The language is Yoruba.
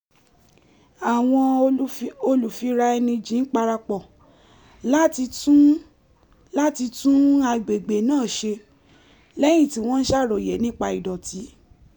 àwọn olùfiraẹnijìn parapọ̀ láti tún láti tún agbègbè náà ṣe lẹ́yìn tí wọ́n ti ṣàròyé nípa ìdọ̀tí